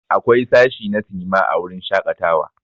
Akwai sashi na sinima a wurin shakatawa.